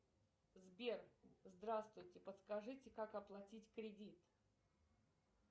сбер здравствуйте подскажите как оплатить кредит